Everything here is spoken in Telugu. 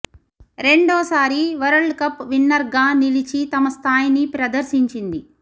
రెండో సారి వరల్డ్ కప్ విన్నర్గా నిలిచి తమ స్థాయిని ప్రదర్శించింది